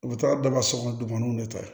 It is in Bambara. U bɛ taa daga so kɔnɔ dugumanaw de ta